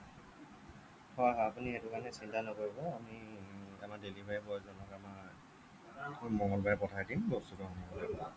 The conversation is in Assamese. হ'য় হ'য় আপুনি সেইটো কাৰণে চিন্তা নকৰিব আমি আমাৰ delivery boy জনক আমাৰ মঙ্গলবাৰে পঠাই দিম বস্তুটো আনাৰ কাৰণে